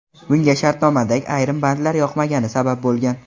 Bunga shartnomadagi ayrim bandlar yoqmagani sabab bo‘lgan.